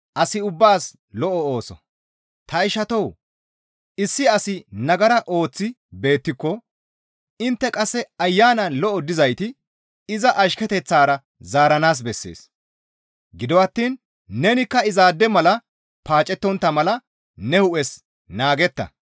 Ta ishatoo! Issi asi nagara ooththi beettiko intte qasse Ayanan lo7o dizayti iza ashketeththara zaaranaas bessees; gido attiin nekka izaade mala paacettontta mala ne hu7es naagetta.